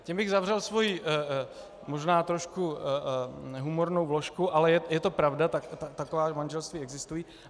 Tím bych uzavřel svoji možná trošku humornou vložku, ale je to pravda, taková manželství existují.